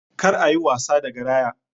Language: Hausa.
Kar a yi wasa da garaya!